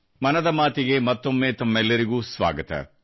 ಮನದ ಮಾತಿಗೆ ಮತ್ತೊಮ್ಮೆ ತಮ್ಮೆಲ್ಲರಿಗೂ ಸ್ವಾಗತ